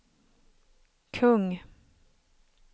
kung